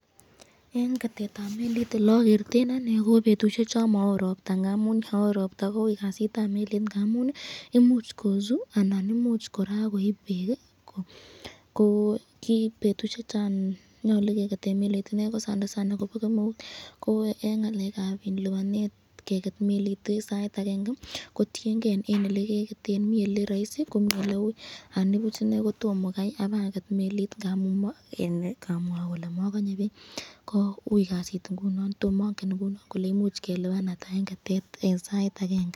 En ketetab melit elokoretoi anee ko betushek chon mowoo robta ng'amun yoon woon robta kouii kasitab melit ng'amun imuch kosuu anan imuch kora koib beek, ko kibetushechon nyolu keketen melit ineei ko sana sana kobo kemeut, ko en ngalekab libanet keket melit en sait akeng'e kotieng'e en elekeketen, mii elee roisi ko mii elewui anibuch ineei kotomoo kaai ibaket melit, ng'amun mokelee mokonyee beek, ko uii kasit ing'unon ng'amun mongen olee imuch keliban ata ing'unon en sait akeng'e.